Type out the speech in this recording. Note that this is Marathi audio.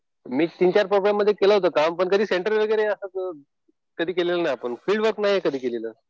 मी तीन-चार प्रोग्राममध्ये केलं होतं काम. पण कधी सेंटर वगैरे असं कधी केलेलं नाही आपण. फिल्ड वर्क नाही कधी केलेलं.